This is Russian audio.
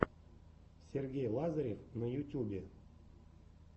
сергей лазарев на ютюбе